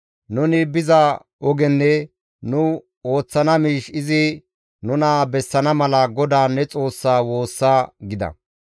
Nuni biza ogenne nu ooththana miish izi nuna bessana mala GODAA ne Xoossa woossa» gida.